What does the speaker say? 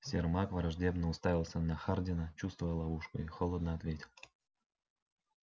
сермак враждебно уставился на хардина чувствуя ловушку и холодно ответил